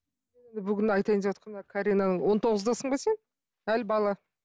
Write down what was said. бүгін айтайындеватқан мына карина он тоғыздасың ба сен әлі бала